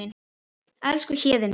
Elsku Héðinn minn.